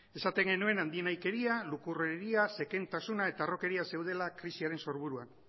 esaten genuen handinahikeria lukurreria zekentasuna eta harrokeria zeudela krisiaren sorburuan